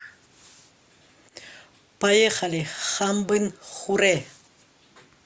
поехали хамбын хурэ